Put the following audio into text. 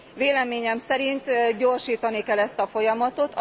Véleményem szerint gyorsítani kell ezt a folyamatot.